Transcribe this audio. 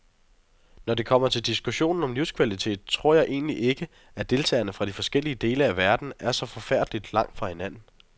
Når det kommer til diskussionen om livskvalitet, tror jeg egentlig ikke, at deltagerne fra de forskellige dele af verden er så forfærdeligt langt fra hinanden.